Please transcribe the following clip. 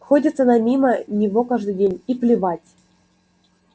ходит она мимо него каждый день и плевать